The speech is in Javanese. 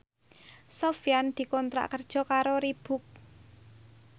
Sofyan dikontrak kerja karo Reebook